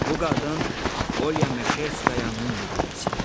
Bu qadın Olya Meşerskoyanın müdirəsidir.